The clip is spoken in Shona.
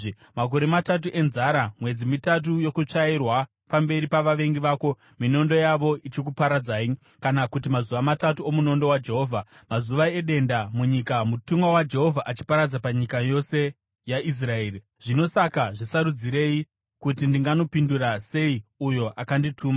Makore matatu enzara, mwedzi mitatu yokutsvairwa pamberi pavavengi vako, minondo yavo ichikuparadzai, kana kuti mazuva matatu omunondo waJehovha, mazuva edenda munyika mutumwa waJehovha achiparadza panyika yose yaIsraeri.’ Zvino saka zvisarudzirei kuti ndinganopindura sei uyo akandituma.”